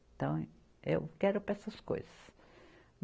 Então, eu quero para essas coisas.